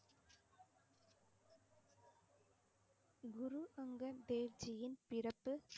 குரு அங்கர் தேவ்ஜியின் பிறப்பு